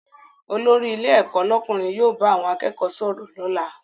Olórí ilé ẹ̀kọ́ lọ́kùnrin yóò bá àwọn akẹ́kọ̀ọ́ sọ̀rọ̀ lọ́la